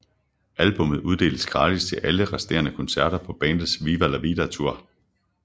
Albummet uddeles gratis til alle resterende koncerter på bandets Viva la Vida Tour